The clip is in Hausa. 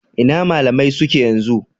Ina malamai suke yanzu?.